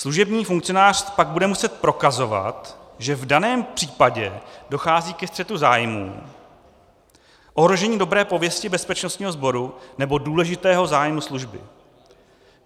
Služební funkcionář pak bude muset prokazovat, že v daném případě dochází ke střetu zájmů, ohrožení dobré pověsti bezpečnostního sboru nebo důležitého zájmu služby.